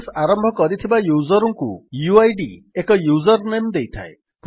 process ଆରମ୍ଭ କରିଥିବା user ଙ୍କୁ ଉଇଡ୍ ଏକ ୟୁଜର୍ ନେମ୍ ଦେଇଥାଏ